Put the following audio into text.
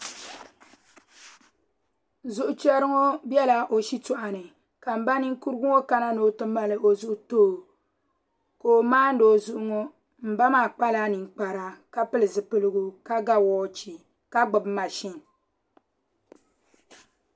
Zuɣu chɛri ŋo biɛla o shitoɣu ni ka n ba ninkurigu ŋo kana ni o ti mali o zuɣu too ka o maandi o zuɣu ŋo n ba maa kpala ninkpara ka pili zipiligu ka ga woochi ka gbubi mashin